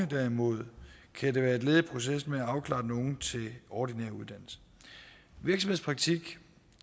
derimod være et led i processen med at afklare den unge til ordinær uddannelse virksomhedspraktik